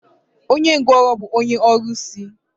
Onye ngwụrọ bụ onye ọrụsị.